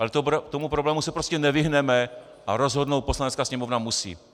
Ale tomu problému se prostě nevyhneme a rozhodnout Poslanecká sněmovna musí.